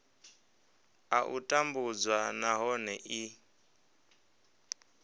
a u tambudzwa nahone i